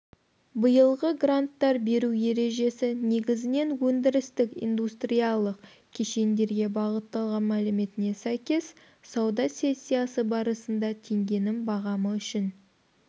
биылғы гранттар беру ережесі негізінен өндірістік-индустриялық кешендерге бағытталған мәліметіне сәйкес сауда сессиясы барысында теңгенің бағамы үшін